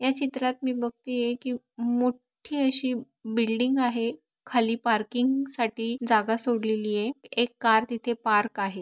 या चित्रात मी बघती आहे कि मोठी अशी बिल्डिंग आहे खाली पार्किंग साठी जागा सोडलेली आहे एक कार तिथे पार्क आहे.